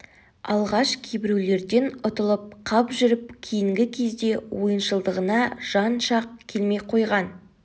алғаш кейбіреулерден ұтылып қап жүріп кейінгі кезде ойыншылдығына жан шақ келмей қойған